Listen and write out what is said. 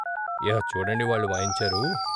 ఇహ చూడండి వాళ్ళు వాయించారు.